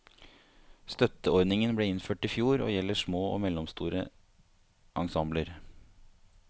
Støtteordningen ble innført i fjor og gjelder små og mellomstore ensembler.